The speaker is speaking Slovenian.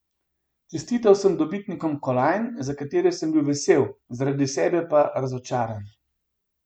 Čestital sem dobitnikom kolajn, za katere sem bil vesel, zaradi sebe pa razočaran.